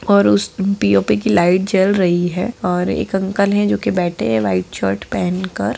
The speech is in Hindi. और उस पी.ओ.पी. की लाइट जल रही है और एक अंकल है जो कि बैठे है व्हाइट शर्ट पहन कर।